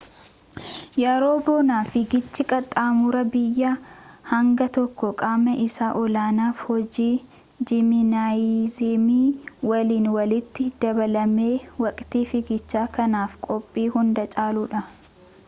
yeroo bonaa fiigichi qaxxamura biyyaa hangi tokko qaama isaa olaanaaf hojii jiminaaziyemii waliin walitti dabalamee waqtii fiigichaa kanaaf qophii hunda caaludha